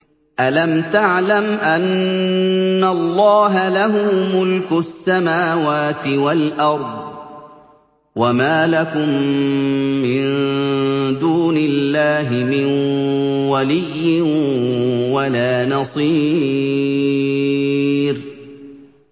أَلَمْ تَعْلَمْ أَنَّ اللَّهَ لَهُ مُلْكُ السَّمَاوَاتِ وَالْأَرْضِ ۗ وَمَا لَكُم مِّن دُونِ اللَّهِ مِن وَلِيٍّ وَلَا نَصِيرٍ